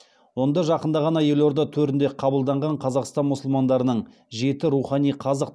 онда жақында ғана елорда төрінде қабылданған қазақстан мұсылмандарының жеті рухани қазық